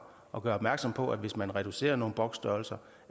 og gør opmærksom på at hvis man reducerer nogle boksstørrelser